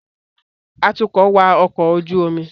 Atukọ̀ wa ọkọ̀ ojú omi